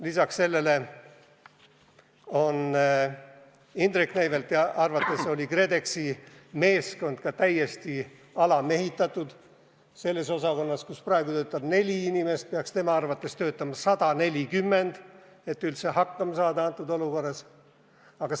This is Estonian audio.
Lisaks sellele on Indrek Neivelti arvates KredExi meeskond ka täiesti alamehitatud – selles osakonnas, kus praegu töötab neli inimest, peaks tema arvates töötama 140, et üldse praeguses olukorras hakkama saada.